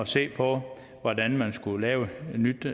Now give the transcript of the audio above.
se på hvordan man skulle lave et nyt